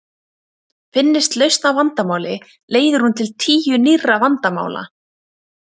Finnist lausn á vandamáli leiðir hún til tíu nýrra vandamála.